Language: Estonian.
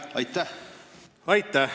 Aitäh!